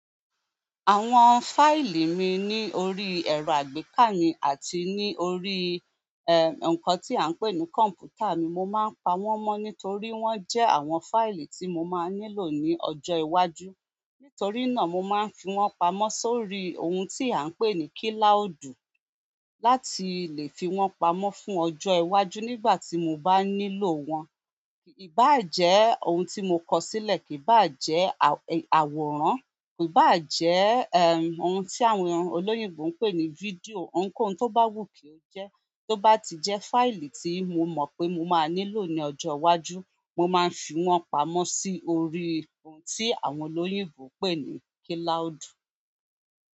Àwọn fáìlì mi ní orí ẹ̀rọ àgbékà mi àti ní orí, nǹkan tí à ń pè ní kọ̀m̀pútà mi. Mo máa ń pa wọ́n mọ́ ní torí wọ́n jẹ́ àwọn fáìlì tí mo máa nílò ní ọjọ́ iwájú. Nítorí náà, mo máa ń fi wọ́n pamọ́ sórí ohun tí à ń pè ní kílàúdù láti lè fi wọ́n pamọ́ fún ọjọ́ iwájú nígbà tí mo bá nílò wọn. Kì í bá à jẹ́ ohun tí mo kọ sílẹ̀, kì í bá à jẹ́ àwòrán, kì í bá à jẹ́, ohun tí àwọn olóyìnbó ń pè ní fídíò. Ohunkóhun tó bá wù kí ó jẹ́, tó bá ti jẹ́ fáìlì tí mo mọ̀ pé mo máa nílò ní ọjọ́ iwájú, mo máa ń fi wọ́n pamọ́ sí orí ohun tí àwọn olóyìnbó ń pè ní kílàúdù.